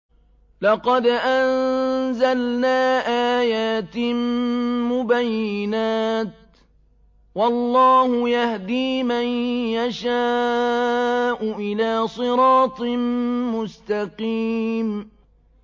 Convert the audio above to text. لَّقَدْ أَنزَلْنَا آيَاتٍ مُّبَيِّنَاتٍ ۚ وَاللَّهُ يَهْدِي مَن يَشَاءُ إِلَىٰ صِرَاطٍ مُّسْتَقِيمٍ